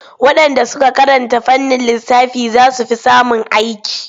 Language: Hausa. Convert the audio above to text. Waɗanda suka karanta fannin lissafi za su fi samun aiki./